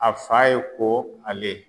A fa ye ko ale